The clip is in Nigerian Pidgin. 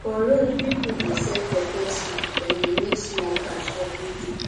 for road people dey sell pepper soup dem dey make small cash every day